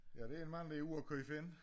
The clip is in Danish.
Ja det en mand der er ude og købe ind